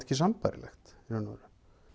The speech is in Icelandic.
ekki sambærilegt í raun og veru